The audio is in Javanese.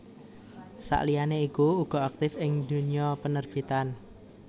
Sakliyane iku uga aktif ing dunya penerbitan